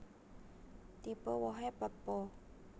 Tipe wohé pepo